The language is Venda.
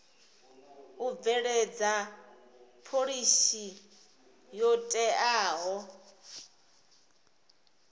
u bveledza phoḽisi yo teaho